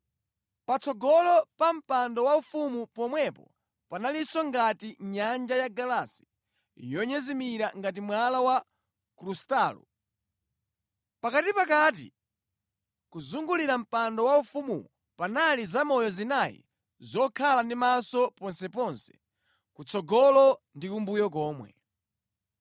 Patsogolo pa mpando waufumu pomwepo panalinso ngati nyanja yagalasi yonyezimira ngati mwala wa krustalo. Pakatinʼpakati, kuzungulira mpando waufumuwo panali zamoyo zinayi zokhala ndi maso ponseponse, kutsogolo ndi kumbuyo komwe.